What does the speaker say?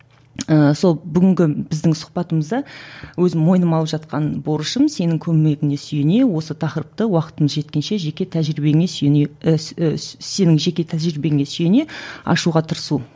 ыыы сол бүгінгі біздің сұхбатымызда өзім мойныма алып жатқан борышым сенің көмегіңе сүйене осы тақырыпты уақытың жеткенше жеке тәжірибеңе сүйене ііі сенің жеке тәжірибеңе сүйене ашуға тырысу